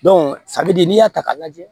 de n'i y'a ta k'a lajɛ